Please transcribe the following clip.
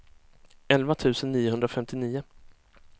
elva tusen niohundrafemtionio